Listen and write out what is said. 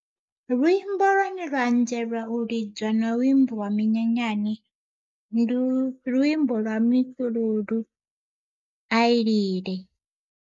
Luimbo lwane lwa a dzelwa u lidzwa na vhu imbelelwa minyanyani ndi luimbo lwa mifhululu ai lile.